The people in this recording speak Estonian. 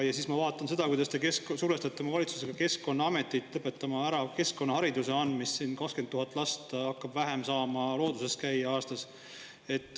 Ja siis ma vaatan seda, kuidas te survestate oma valitsusega Keskkonnaametit lõpetama ära keskkonnahariduse andmist: 20 000 last vähem hakkab saama looduses käia aastas.